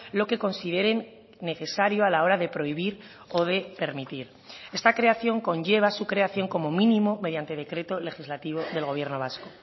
lo que consideren necesario a la hora de prohibir o de permitir esta creación conlleva su creación como mínimo mediante decreto legislativo del gobierno vasco